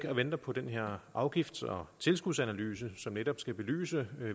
og venter på den her afgifts og tilskudsanalyse som netop skal belyse